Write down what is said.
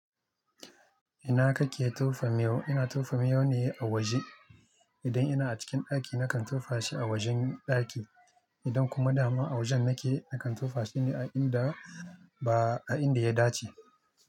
Ina kake tofa miyau? Ina tofa miyau ne a waje. Idan ina a cikin daki na kan tofa shi a wajen ɗaki. Idan kuma dama a wajen nake na kan tofa shine a inda ba a inda ya dace.